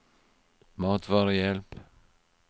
matvarehjelp